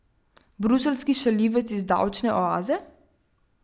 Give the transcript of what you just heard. Bruseljski šaljivec iz davčne oaze?